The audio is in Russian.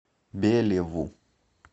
белеву